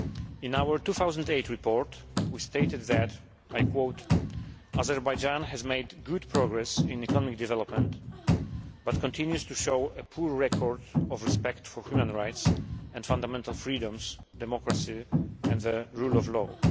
In our 2008 report, we stated that Azerbaijan has made good progress in economic development, but continues to show a poor record of respect for human rights and fundamental freedoms, democracy and the rule of law'.